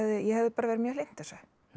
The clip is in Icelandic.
ég hefði verið mjög hlynnt þessu